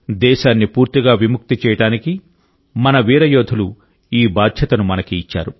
దేశాన్ని పూర్తిగా విముక్తి చేయడానికి మన వీర యోధులు ఈ బాధ్యతను మనకు ఇచ్చారు